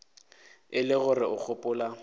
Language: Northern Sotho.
e le gore o gopola